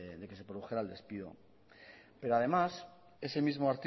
de de que se produjera el despido pero además ese mismo